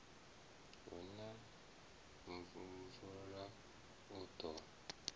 hu na mvula u ḓo